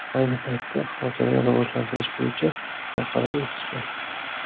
Ayni paytda xotirani rivojlantirish bo‘yicha xalqaro ekspert.